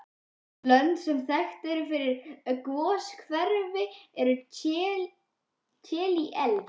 Önnur lönd sem þekkt eru fyrir goshveri eru Chile, El